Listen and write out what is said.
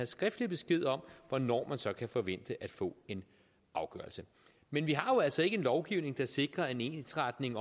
skriftlig besked om hvornår man så kan forvente at få en afgørelse men vi har jo altså ikke en lovgivning der sikrer en ensretning